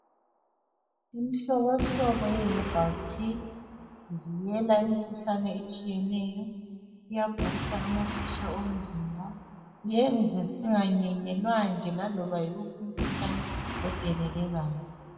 Imihlohlobo ye herbal tea, ivikela imikhuhlane etshiyeneyo, iyabhusta amasotsha omzimba. Yenze singanyenyelwa laloba nguphi umkhuhlahle odelelekayo.